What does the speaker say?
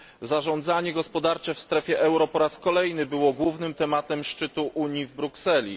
Zarządzanie gospodarcze w strefie euro po raz kolejny było głównym tematem szczytu Unii w Brukseli.